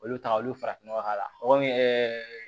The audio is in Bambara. Olu ta olu farafin nɔgɔ k'a la ɛɛ